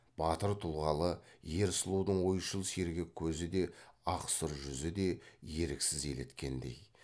батыр тұлғалы ер сұлудың ойшыл сергек көзі де ақ сұр жүзі де еріксіз елеткендей